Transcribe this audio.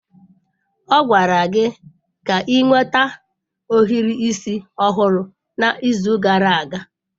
Ọ gwara gị ka ị nweta ohiri isi ọhụrụ n'izu gara aga!